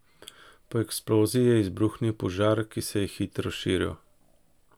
Po eksploziji je izbruhnil požar, ki se je hitro širil.